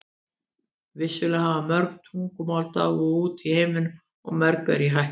Vissulega hafa mörg tungumál dáið út í heiminum og mörg eru í hættu.